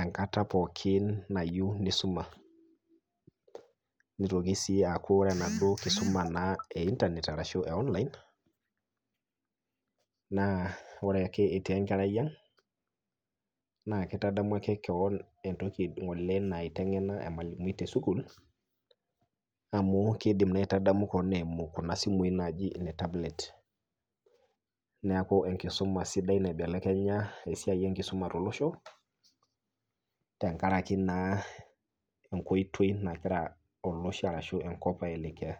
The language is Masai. enkata pookin nayieu neisuma. nitoki naa aku ore enaduo keisuma e internet ashu online, naa ore ake etii enkarai ang naa kitadamu ake keon entoki natiaka ngole ormalimui tesukul amu keidim naa aitadamu koon eimu Kuna simui naaji ne tablet. neeku enkisuma sidai naibelekenya esiai enkisuma tolosho ,tenkaraki naa enkoitoi nagira olosho enaa enkop aimaa.